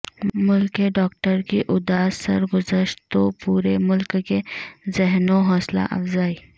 ملک کے ڈاکٹر کی اداس سرگزشت تو پورے ملک کے ذہنوں حوصلہ افزائی